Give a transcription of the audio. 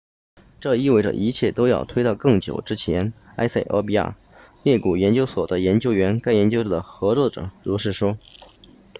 这意味着一切都要推到更久之前埃塞俄比亚裂谷研究所的研究员该研究的合著者 berhane asfaw 如是说